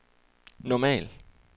normal